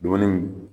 Dumuni